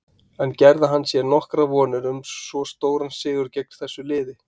En gerði hann sér nokkuð vonir um svo stóran sigur gegn þessu liði?